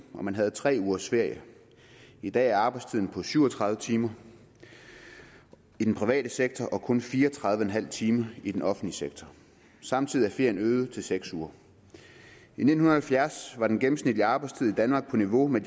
og man havde tre ugers ferie i dag er arbejdstiden på syv og tredive timer i den private sektor og på kun fire og tredive en halv time i den offentlige sektor samtidig er ferien blevet øget til seks uger i nitten halvfjerds var den gennemsnitlige arbejdstid i danmark på niveau med